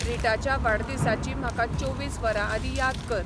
रीटाच्या वाडदिसाची म्हाका चोवीस वरांआदीं याद कर